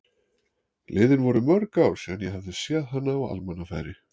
Liðin voru mörg ár síðan ég hafði séð hana á almannafæri.